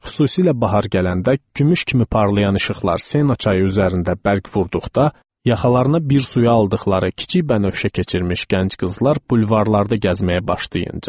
Xüsusilə bahar gələndə, gümüş kimi parlayan işıqlar Sena çayı üzərində bərq vurduqda, yaxalarına bir suya aldıqları kiçik bənövşə keçirmiş gənc qızlar bulvarlarda gəzməyə başlayınca.